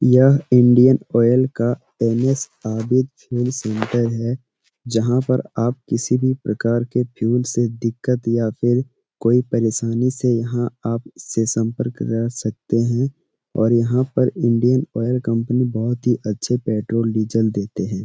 यह Indian oil का N S. Fuel centre है जहाँ पर आप किसी भी प्रकार के फ्यूल से दिक्कत या फिर कोई परेशानी से यहाँ आपसे संपर्क कर सकते हैं और यहाँ पर इंडियन ऑइल कंपनी बहुत ही अच्छे पेट्रोल डीजल देते हैं।